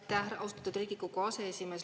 Aitäh, austatud Riigikogu aseesimees!